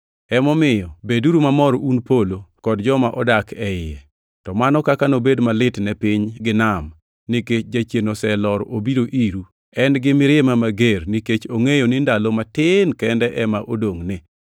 Emomiyo beduru mamor un polo, kod joma odak e iye! To mano kaka nobed malit ne piny gi nam, nikech Jachien oselor obiro iru! En gi mirima mager nikech ongʼeyo ni ndalo matin kende ema odongʼne.”